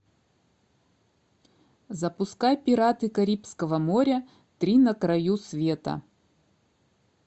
запускай пираты карибского моря три на краю света